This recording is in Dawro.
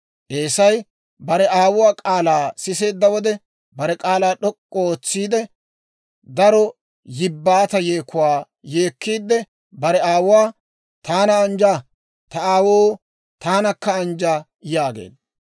Eesay bare aawuwaa k'aalaa siseedda wode, bare k'aalaa d'ok'k'u ootsiide, daro yibbaata yeekuwaa yeekkiide bare aawuwaa, «Taana anjja; ta aawoo, taanakka anjja!» yaageedda.